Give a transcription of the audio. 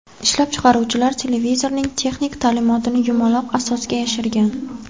Ishlab chiqaruvchilar televizorning texnik ta’minotini yumaloq asosga yashirgan.